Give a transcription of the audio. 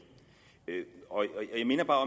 jeg minder bare